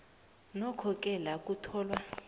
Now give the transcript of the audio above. nokhoke la kutholwa